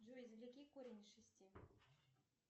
джой извлеки корень из шести